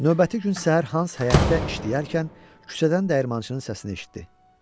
Növbəti gün səhər Hans həyətdə işləyərkən küçədən dəyirmançının səsini eşitdi.